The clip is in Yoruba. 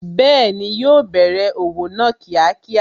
Bẹẹni, yo bẹ̀rẹ̀ òwò náà kíákíá